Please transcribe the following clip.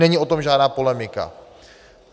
Není o tom žádná polemika.